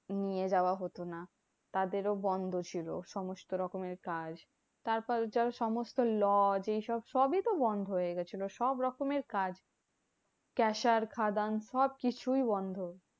নিয়ে যাওয়া হতো না। তাদেরও বন্ধ ছিল সমস্ত রকমের কাছ। তারপর যেমন সমস্ত lodge এইসব সবই তো বন্ধ হয়েগেছিলো, সবরকমের কাজ caesar খাদান সবকিছুই বন্ধ।